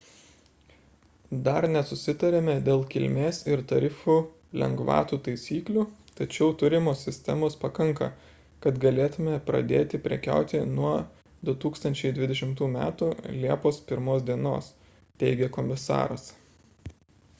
dar nesusitarėme dėl kilmės ir tarifų lengvatų taisyklių tačiau turimos sistemos pakanka kad galėtume pradėti prekiauti nuo 2020 m liepos 1 d teigė komisaras